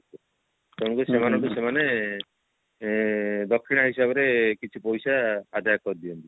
ତେଣୁସ୍କରି ସେମାନଙ୍କୁ ସେମାନେ ଏ ଦକ୍ଷିଣା ହିସାବରେ କିଛି ପଇସା ଆଦାୟ କରି ଦିଅନ୍ତି